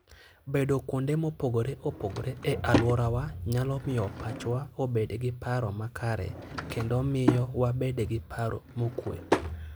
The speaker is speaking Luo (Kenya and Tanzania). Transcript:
Bedo kuonde mopogore opogore e alworawa nyalo miyo pachwa obed gi paro makare kendo miyo wabed gi paro mokuwe.